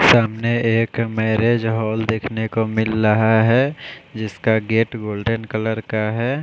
सामने एक marriage hall देखने को मिल रहा है जिसका गेट गोल्डन कलर का है।